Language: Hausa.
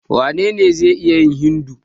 Wanene zai iya yin Hindu?